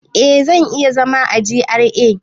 Eh, zan iya zama a GRA